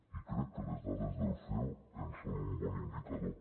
i crec que les dades del ceo en són un bon indicador